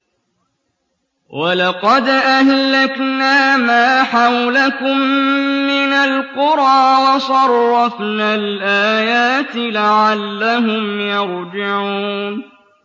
وَلَقَدْ أَهْلَكْنَا مَا حَوْلَكُم مِّنَ الْقُرَىٰ وَصَرَّفْنَا الْآيَاتِ لَعَلَّهُمْ يَرْجِعُونَ